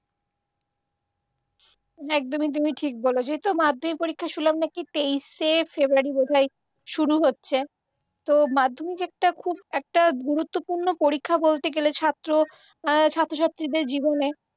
একদমই তুমি ঠিক বলেছ। এই তো মাধ্যমিক পরীক্ষা শুনলাম নাকি তেইশে ফেব্রুয়ারি বোধহয় শুরু হচ্ছে। তো মাধ্যমিক একটা খুব একটা গুরুত্বপূর্ণ পরীক্ষা বলতে গেলে ছাত্র অ্যাঁ ছাত্রছাত্রীদের জীবনে